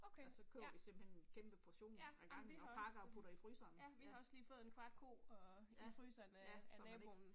Okay, ja, ja jamen vi har også øh. Ja, vi har også lige fået en kvart ko og i fryseren øh af naboen